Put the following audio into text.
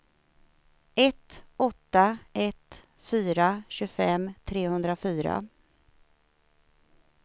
ett åtta ett fyra tjugofem trehundrafyra